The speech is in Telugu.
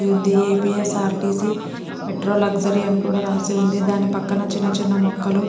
ఉంది ఏ.పీ.యస్.ఆర్.టి.సి. మెట్రో లగ్జరీ అని కూడా రాసి ఉంది. దాని పక్కన చిన్న చిన్న మొక్కలు --